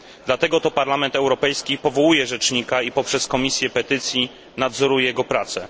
Dlatego to Parlament Europejski powołuje Rzecznika i poprzez Komisję Petycji nadzoruje jego pracę.